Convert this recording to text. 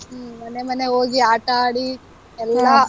ಹ್ಮ್ ಮನೆ ಮನೆಗ್ ಹೋಗಿ ಆಟ ಆಡಿ ಎಲ್ಲಾ